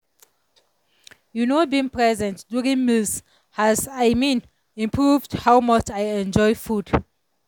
you know being present during meals has i mean improved how much i enjoy food.